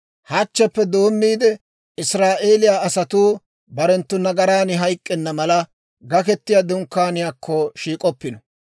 Hachcheppe doommiide, Israa'eeliyaa asatuu barenttu nagaran hayk'k'enna mala, Gaketiyaa Dunkkaaniyaakko shiik'oppino.